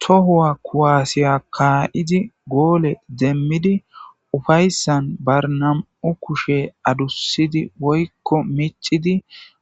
Tohowua kuwasiya ka,idi gole demidi ufayisan ba nam,u kushe adusidi woyiko mic,idi